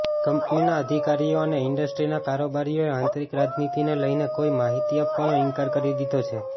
કંપનીના અધિકારીઓ અને ઇન્ડસ્ટ્રીના કારોબારીઓએ આંતરિક રાજનીતિને લઇને કોઇ માહિતી આપવાનો ઇન્કાર કરી દીધો છે